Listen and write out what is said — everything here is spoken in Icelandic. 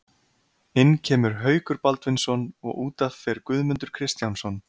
Inn kemur Haukur Baldvinsson og útaf fer Guðmundur Kristjánsson.